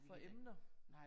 For emner